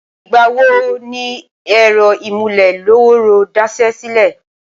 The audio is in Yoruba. ìgbà wo ni ẹ̀rọ ìmúlé-lọ́wọ́ọ́rọ́ daṣẹ́ sílẹ̀?